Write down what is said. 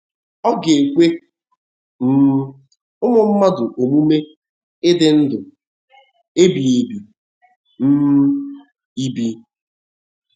Ọ̀ ga - ekwe um ụmụ mmadụ omume ịdị ndụ ebighị um ebi?